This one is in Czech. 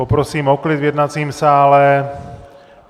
Poprosím o klid v jednacím sále!